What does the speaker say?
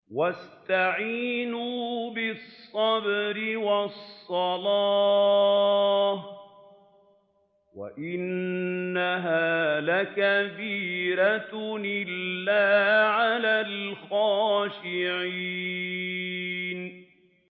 وَاسْتَعِينُوا بِالصَّبْرِ وَالصَّلَاةِ ۚ وَإِنَّهَا لَكَبِيرَةٌ إِلَّا عَلَى الْخَاشِعِينَ